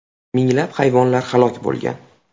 Minglab hayvonlar halok bo‘lgan.